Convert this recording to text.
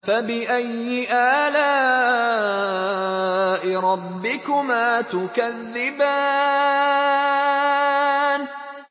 فَبِأَيِّ آلَاءِ رَبِّكُمَا تُكَذِّبَانِ